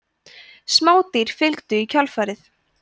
smádýr fylgdu í kjölfarið